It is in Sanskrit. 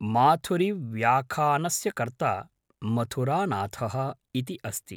माथुरिव्याखानस्य कर्ता मथुरानाथः इति अस्ति